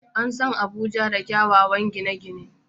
An san Abuja da kyawawan gine-gine.